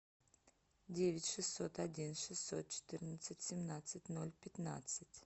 девять шестьсот один шестьсот четырнадцать семнадцать ноль пятнадцать